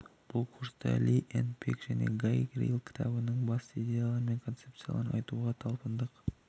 бұл курста ли энн пек және гай рил кітабының басты идеялары мен концепцияларын айтуға талпындық